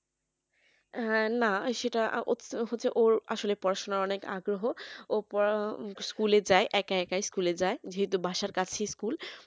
হ্যাঁ না সেটা হচ্ছে ওর আসলে পড়াশোনার অনেক আগ্রহ ও পড়ার school এ যায় একা একাই school এ যায় যেহেতু বাসার কাছে school